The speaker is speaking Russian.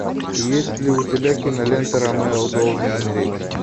есть ли у тебя кинолента ромео должен умереть